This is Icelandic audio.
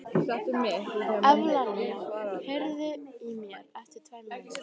Evlalía, heyrðu í mér eftir tvær mínútur.